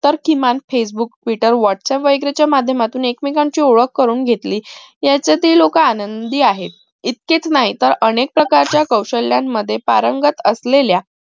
तर किमान facebook twitter whats app id च्या माध्यमातून एकमेकांची ओळख करून घेतली यांच्यातही लोक आनंदी आहेत इतकेच नाही तर अनेक प्रकारच्या कौशल्या मध्ये पारंगत असलेल्या